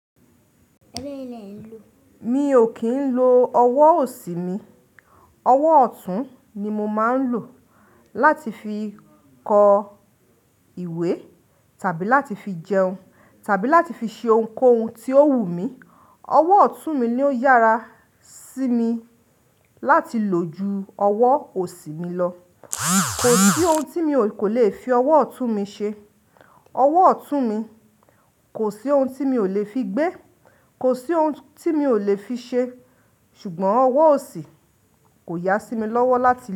Mi ò kí ń lo ọwọ́ òsì mi. Ọwọ́ ọ̀tún ni mo máa ń lò láti fi kọ ìwé tàbí láti fi jẹun tàbí láti fi ṣe ohunkóhun tí ó wù mí. Ọwọ́ ọ̀tún mi ni ó yára sí mi láti lò ju ọwọ́ òsì mi lọ. Kò sí ohun tí mi kò lè fi ọwọ́ ọ̀tún mi ṣe. Ọwọ́ ọ̀tún mi, kò sí ohun tí mi ò lè fi gbé, kò sí ohun tí mi ò lè fi ṣe. Ṣùgbọ́n ọwọ́ òsì kò yá sí mi lọ́wọ́ láti.